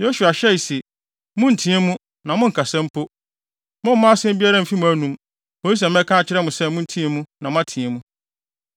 Yosua hyɛe se, “Monnteɛ mu na monnkasa mpo. Mommma asɛm biara mfi mo anum, kosi sɛ mɛka akyerɛ mo se monteɛ mu na moateɛ mu.”